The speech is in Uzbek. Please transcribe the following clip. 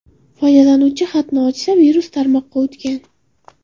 Foydalanuvchi xatni ochsa, virus tarmoqqa o‘tgan.